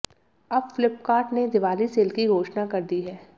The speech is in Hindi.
अब फ्लिककार्ट ने दिवाली सेल की घोषणा कर दी है